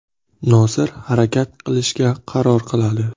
Nosir harakat qilishga qaror qiladi.